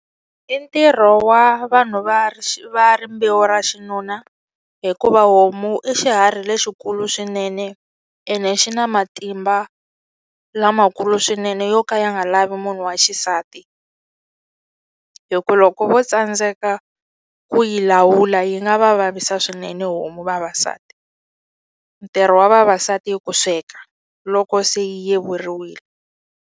I ntirho wa vanhu va va rimbewu ra xinuna hikuva homu i xiharhi lexikulu swinene ene xi na matimba lamakulu swinene yo ka ya nga lavi munhu wa xisati hi ku loko vo tsandzeka ku yi lawula yi nga va vavisa swinene homu vavasati ntirho wa vavasati ku i sweka loko se yi yevuriwini.